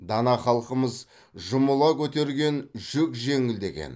дана халқымыз жұмыла көтерген жүк жеңіл деген